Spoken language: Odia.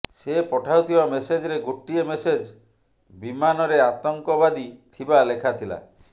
ସେ ପଠାଉଥିବା ମେସେଜରେ ଗୋଟିଏ ମେସେଜ ବିମାନରେ ଆତଙ୍କବାଦୀ ଥିବା ଲେଖାଥିଲା